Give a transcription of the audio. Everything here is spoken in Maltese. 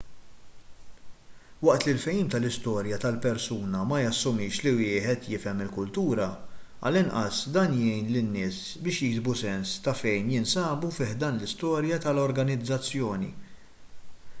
waqt li l-fehim tal-istorja tal-persuna ma jassumix li wieħed jifhem il-kultura għall-inqas dan jgħin lin-nies biex jiksbu sens ta' fejn jinsabu fi ħdan l-istorja tal-organizzazzjoni